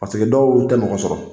dɔw y'u ta ɲɔgɔn sɔrɔ